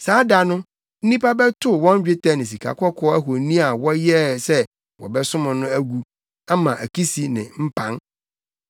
Saa da no, nnipa bɛtow wɔn dwetɛ ne sikakɔkɔɔ ahoni a wɔyɛɛ sɛ wɔbɛsom no agu ama akisi ne mpan.